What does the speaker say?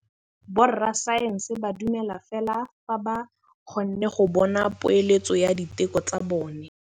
Borra saense ba dumela fela fa ba kgonne go bona poeletsô ya diteko tsa bone.